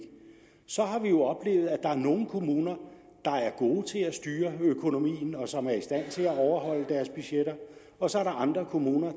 så har vi jo oplevet er nogle kommuner der er gode til at styre økonomien og som er i stand til at overholde deres budgetter og så er der andre kommuner